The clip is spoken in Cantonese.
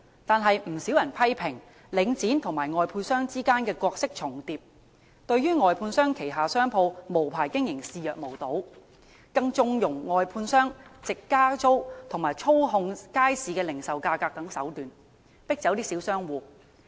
但不少人批評，領展與外判商之間的角色重疊，對外判商旗下商鋪無牌經營視若無睹，更縱容外判商藉加租及操控街市零售價格等手段，迫走小商戶。